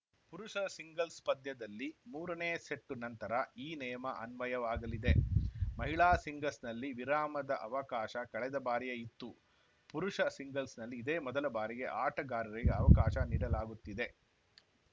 ಪುರುಷರ ಸಿಂಗಲ್ಸ್‌ ಪಂದ್ಯದಲ್ಲಿ ಮೂರನೇ ಸೆಟ್ಟು ನಂತರ ಈ ನಿಯಮ ಅನ್ವಯವಾಗಲಿದೆ ಮಹಿಳಾ ಸಿಂಗಲ್ಸ್‌ನಲ್ಲಿ ವಿರಾಮದ ಅವಕಾಶ ಕಳೆದ ಬಾರಿಯೇ ಇತ್ತು ಪುರುಷ ಸಿಂಗಲ್ಸ್‌ನಲ್ಲಿ ಇದೇ ಮೊದಲ ಬಾರಿಗೆ ಆಟಗಾರರಿಗೆ ಅವಕಾಶ ನೀಡಲಾಗುತ್ತಿದೆ